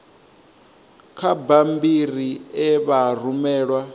kha bammbiri e vha rumelwa